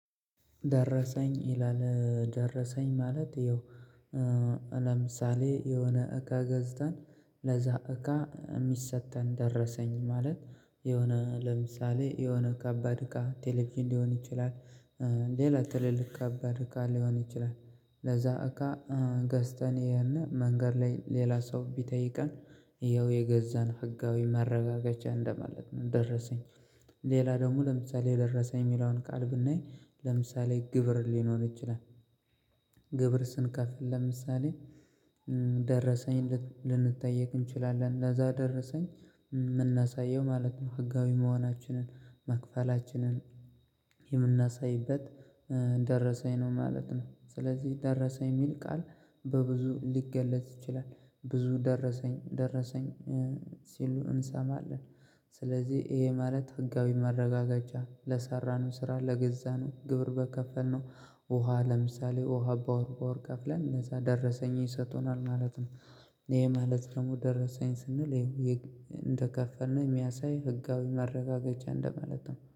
ደረሰኝ ይላል ደረሰኝ ማለት ይኸው። ለምሳሌ የሆነ እቃ ገዝታን ለዛ እቃ የሚሰጠን ደረሰኝ ማለት የሆነ ለምሳሌ የሆነ ከባድ እቃ ቴሌቪዥን ሊሆን ይችላል። ሌላ ትልልቅ ከባድ እቃ ሊሆን ይችላል። ለዛ እቃ ገዝተን ይሄንን መንገድ ላይ ሌላ ሰው ቢጠይቀን ይኸው የገዛን ህጋዊ ማረጋገጫ እንደማለት ነው ደረሰኝ። ሌላ ደግሞ ለምሳሌ የደረሰኝ የሚለውን ቃል ብናይ ለምሳሌ ግብር ሊኖር ይችላል። ግብር ስንከፍል ለምሳሌ ደረሰኝ ልንጠየቅ እንችላለን ለዛ ደረሰኝ የምናሳየው ማለት ነው። ህጋዊ መሆናችንን መክፈላችንን የምናሳይበት ደረሰኝ ነው ማለት ነው። ስለዚህ ደረሰ የሚል ቃል በብዙ ሊገለጽ ይችላል ብዙ ደረሰኝ ደረሰኝ ሲሉ እንሰማለን። ስለዚህ ይሄ ማለት ህጋዊ ማረጋገጫ ለሰራነው ስራ ለገዛነው ግብር በከፈልነው ውሃ ለምሳሌ ውሃ በወር በወር ከፍለን እነዛ ደረሰኝ ይሰጡነናል ማለት ነው። ይሄ ማለት ደግሞ ደረሰኝ ስንል እንደከፈልን የሚያሳይ ህጋዊ ማረጋገጫ እንደማለት ነው